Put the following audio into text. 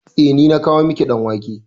Eh, ni na kawo miki ɗan wake.